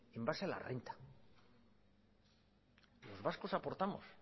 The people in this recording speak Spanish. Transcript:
en base a la renta los vascos aportamos